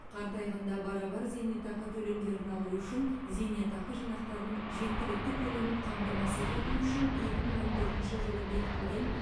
қартайғанда барабар зейнетақы төлемдерін алу үшін зейнетақы жинақтарының жеткілікті көлемін қамтамасыз ету үшін екі мың он төртінші жылы бекітілген